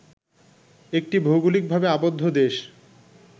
একটি ভৌগলিকভাবে আবদ্ধ দেশ